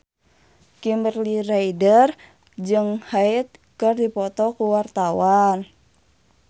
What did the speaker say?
Kimberly Ryder jeung Hyde keur dipoto ku wartawan